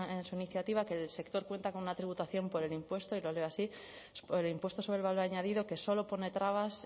de su iniciativa que el sector cuenta con una tributación por el impuesto y lo leo así por el impuesto sobre el valor añadido que solo pone trabas